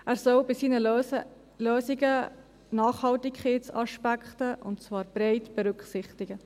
Er soll bei seinen Lösungen Nachhaltigkeitsaspekte bereit berücksichtigen.